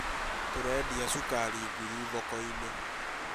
Tũredia cukari nguru thoko-inĩ